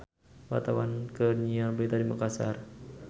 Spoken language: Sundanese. Wartawan keur nyiar berita di Makassar